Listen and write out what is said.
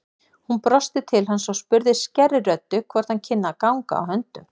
Hún brosti til hans og spurði skærri röddu hvort hann kynni að ganga á höndum.